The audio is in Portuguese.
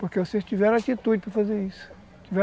Porque vocês tiveram a atitude para fazer isso.